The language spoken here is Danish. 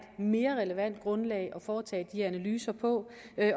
mere relevant grundlag at foretage de analyser på